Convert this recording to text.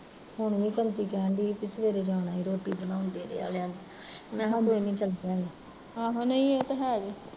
ਹੁਣ ਵੀ ਕੰਤੀ ਕਹਿਣ ਡਈ ਸੀ ਵੀ ਸਵੇਰੇ ਜਾਣਾ ਆਏ ਰੋਟੀ ਬਣਾਉਣ ਡੇਰੇ ਆਲਿਆ ਦੇ, ਮੈਂ ਕਿਹਾ ਕੋਈ ਨੀ ਚਲ ਪਿਆ ਗੇ